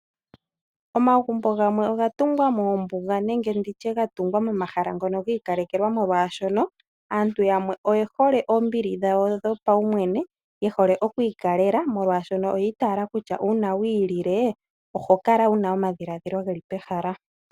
Omagumbo gamwe oga tungwa moombuga nenge nditye momahala ngono gii ikalelwa molwashono aantu yamwe oye hole oombili dhawo dhopawu mwene. Ye hole oku ikalela molwaashono oyi itala kutya una wi ilile oho kala wuna omadhiladhilo geli pehala.